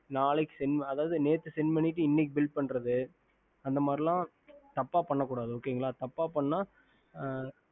ஆதாவது நேத்து selle பண்ணிட்டு இன்னகி bill போடுறது அந்தமாரில தப்ப பண்ணி இருக்க கூடாது தப்ப பண்ண